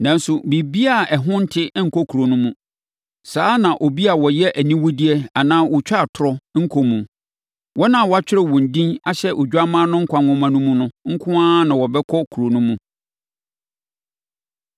Nanso, biribiara a ɛho nte nkɔ kuro no mu. Saa ara na obi a ɔyɛ aniwudeɛ anaa ɔtwa atorɔ nkɔ mu. Wɔn a wɔatwerɛ wɔn din ahyɛ Odwammaa no nkwa nwoma no mu no nko ara na wɔbɛkɔ kuro no mu.